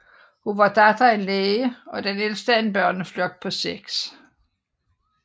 Hun var datter af en læge og den ældste af en børneflok på 6